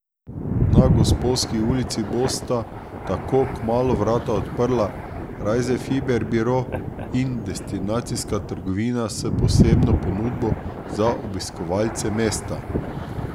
Na Gosposki ulici bosta tako kmalu vrata odprla Rajzefiber biro in destinacijska trgovina s posebno ponudbo za obiskovalce mesta.